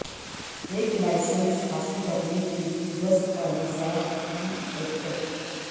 ایک لائسنس حاصل کرنے کے لئے دستاویزات کی پیکج